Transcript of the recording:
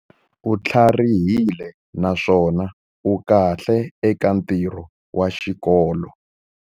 U tlharihile naswona u kahle eka ntirho wa xikolo.